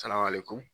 Saraka le kun